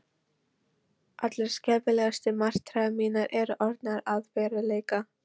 Allar skelfilegustu martraðir mínar eru orðnar að veruleika.